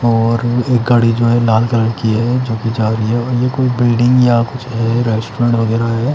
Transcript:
और एक गाडी जो है लाल कलर की है जो कि जा रही है ये कोई बिल्डिंग या कुछ है रेस्टोरेंट वगेरह है।